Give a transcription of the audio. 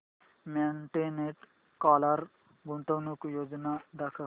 Monte Carlo गुंतवणूक योजना दाखव